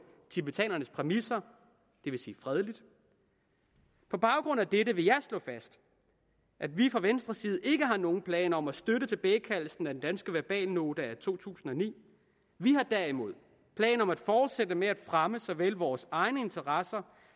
tibetanernes præmisser det vil sige fredeligt på baggrund af dette vil jeg slå fast at vi fra venstres side ikke har nogen planer om at støtte tilbagekaldelsen af den danske verbalnote af to tusind og ni vi har derimod planer om at fortsætte med at fremme såvel vores egne interesser